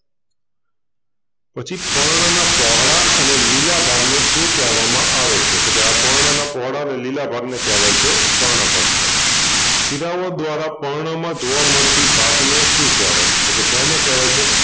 પછી પર્ણનાં પોહળા અને લીલા ભાગને શું કેહવામાં આવે છે તોકે આ પર્ણનાં પોહળા અને લીલા ભાગને કેહવાય છે પર્ણપત્ર શિરાઓ દ્વારા પર્ણમાં જોવાં મળતી ભાતને શું કેહવાય તોકે એને કેહવાય છે.